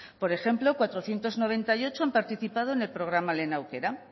por ejemplo cuatrocientos noventa y ocho han participado en el programa lehen aukera